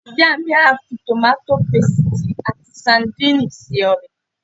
Ìyá mi á fi tòmáto pesìtì ati sadínìnnì se ọbẹ̀